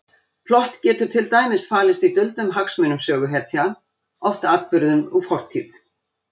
Plott getur til dæmis falist í duldum hagsmunum söguhetja, oft atburðum úr fortíð.